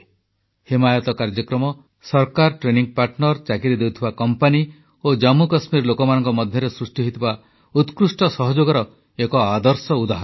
ହିମାୟତ କାର୍ଯ୍ୟକ୍ରମ ସରକାର training partner ଚାକିରି ଦେଉଥିବା କମ୍ପାନୀ ଓ ଜମ୍ମୁକଶ୍ମୀର ଲୋକମାନଙ୍କ ମଧ୍ୟରେ ସୃଷ୍ଟି ହୋଇଥିବା ଉତ୍କୃଷ୍ଟ ସହଯୋଗର ଏକ ଆଦର୍ଶ ଉଦାହରଣ